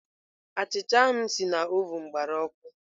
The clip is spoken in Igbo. Achịcha ahụ m si na ovụn gbara ọkụ.